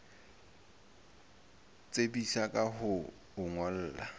tsebisa ka ho o ngolla